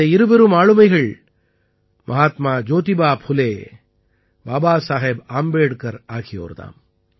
இந்த இருபெரும் ஆளுமைகள் மஹாத்மா ஜோதிபா புலே பாபா சாஹேப் ஆம்பேட்கர் ஆகியோர் தாம்